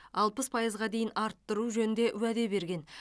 алпыс пайызға дейін арттыру жөнінде уәде берген